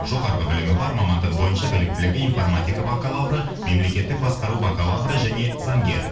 жоғарғы білімі бар мамандығы бойынша біліктілігі информатика бакалавры мемлекеттік басқару бакалавры және заңгер